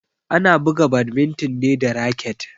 Ana buga badminton ne da raket.